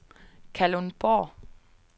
Kalundborg